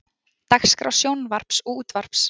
DAGSKRÁ SJÓNVARPS OG ÚTVARPS